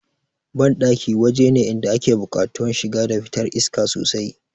Banɗaki waje ne inda ake buƙatuwan shiga da fitar iska sosai